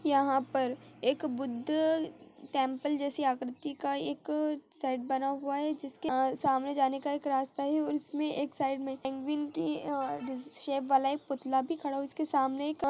यहाँ पे एक बुद्ध टेंपल जैसी आकृति का एक सेट बना हुआ है जिसमे सामने जाने का रास्ता है और उसमे एक साइड मे पेंगुइन की शेप वाला पुतला भी खड़ा है और उसके सामने एक--